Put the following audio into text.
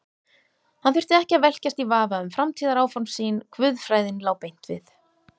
Hann þurfti ekki að velkjast í vafa um framtíðaráform sín, guðfræðin lá beint við.